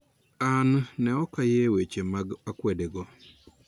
An ne ok ayie weche mag akwede go